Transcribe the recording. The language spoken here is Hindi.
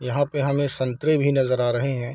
यहा पे हमे संतरे भी नजर आ रहे हैं।